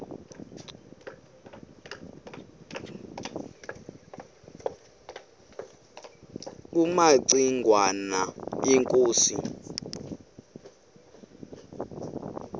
kumaci ngwana inkosi